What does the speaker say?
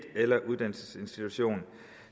eller en uddannelsesinstitution